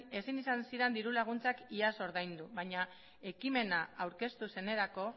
ezin izan ziren diru laguntzak iaz ordaindu baina ekimena aurkeztu zenerako